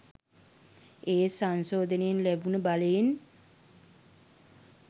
එහෙත් සංශෝධනයෙන් ලැබුණ බලයෙන්